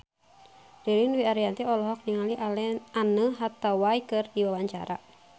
Ririn Dwi Ariyanti olohok ningali Anne Hathaway keur diwawancara